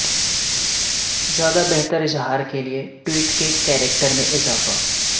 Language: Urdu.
زیادہ بہتر اظہار کے لیے ٹویٹ کے کیریکٹر میں اضافہ